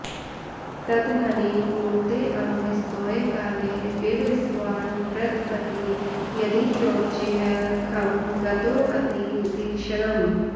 तदहनि कुरुतेऽम्भस्तोयकाले विवस्वान् प्रतपति यदि चोच्चैः खं गतोऽतीव तीक्ष्णम्